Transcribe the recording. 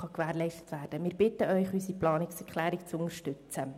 Wir bitten Sie, unsere Planungserklärung zu unterstützen.